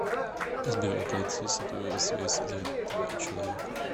сбер оплати сотовую связь за этого человека